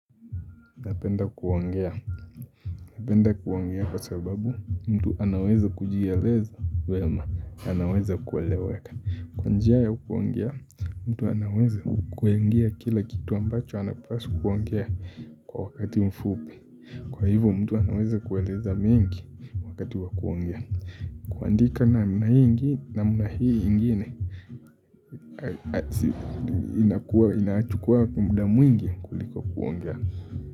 Napenda kuongea kwa sababu mtu anaweza kujieleza vyema, anaweza kueleweka kwa njia ya kuongea, mtu anaweza kuongea kila kitu ambacho anapaswa kuongea kwa wakati mfupi kwa hivyo mtu anaweza kueleza mingi wakati wakuongea kuandika namna hii ingine inachukua muda mwingi kuliko kuongea.